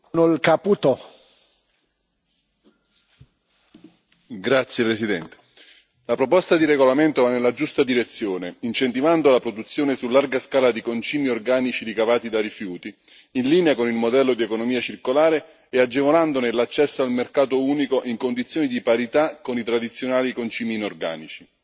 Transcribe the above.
Signor Presidente, onorevoli colleghi, la proposta di regolamento va nella giusta direzione, incentivando la produzione su larga scala di concimi organici ricavati da rifiuti, in linea con il modello dell'economia circolare, e agevolandone l'accesso al mercato unico in condizioni di parità con i tradizionali concimi inorganici.